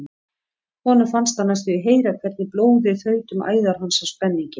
Honum fannst hann næstum því heyra hvernig blóðið þaut um æðar hans af spenningi.